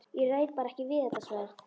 Ég ræð bara ekkert við þetta sverð!